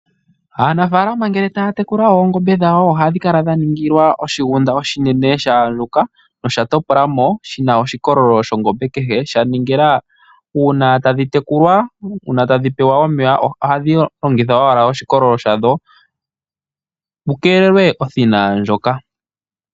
Aanafalama ngele taya tekula oongombe dhawo oha dhi kala dha ningilwa oshigunda oshinene sha andjuka, nosha topola mo shina oshikololo shongombe kehe. Sha ningila uuna tadhi tekulwa, uuna tadhi pewa omeya ohadhi longitha owala oshikololo shadho mukeelelwe othina ndjoka.